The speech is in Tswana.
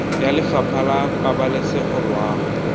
ya lefapha la pabalesego loago